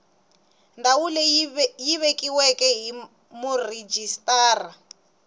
ndhawu leyi vekiweke hi murhijisitara